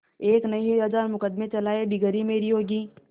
एक नहीं हजार मुकदमें चलाएं डिगरी मेरी होगी